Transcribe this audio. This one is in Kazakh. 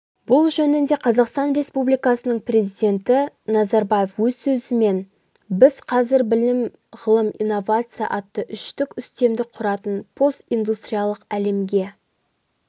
бұл жөнінде қазақстан республикасының президенті назарбаев өз сөзінде біз қазір білім-ғылым-инновация атты үштік үстемдік құратын постиндустриялық әлемге